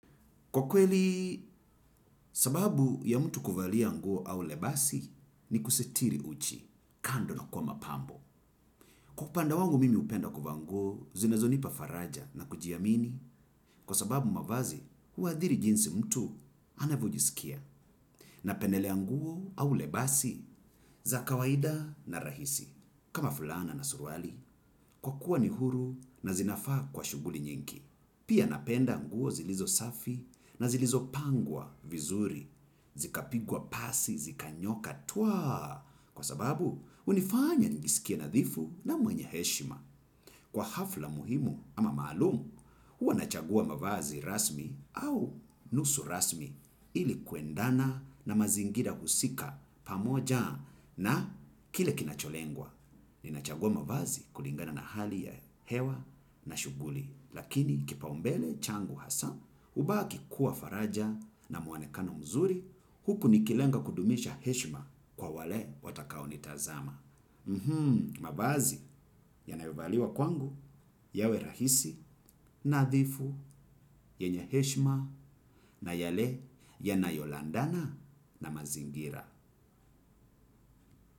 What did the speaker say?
Kwa kweli, sababu ya mtu kuvalia nguo au lebasi ni kusitiri uchi, kando na kuwa mapambo. Kwa upande wangu mimi hupenda kuvaa nguo, zinazo nipa faraja na kujiamini. Kwa sababu mavazi, huadhiri jinsi mtu anavyojisikia. Na pendelea nguo au lebasi za kawaida na rahisi. Kama fulana na suruali, kwa kuwa ni huru na zinafaa kwa shughuli nyingi. Pia napenda nguo zilizo safi na zilizo pangwa vizuri. Zikapigwa pasi, zikanyooka, twa. Kwa sababu, hunifanya nijisikie nadhifu na mwenye heshima. Kwa hafla muhimu ama maalumu, huwa nachagua mavazi rasmi au nusu rasmi ilikuendana na mazingira husika pamoja na kile kinacholengwa. Nina chagua mavazi kulingana na hali ya hewa na shughuli, lakini kipaumbele changu hasa, hubaki kuwa faraja na muonekano mzuri, huku nikilenga kudumisha heshma kwa wale watakao nitazama. Mavazi yanayo valiwa kwangu, yawe rahisi, nadhifu, yenye heshima, na yale yanayo andana na mazingira.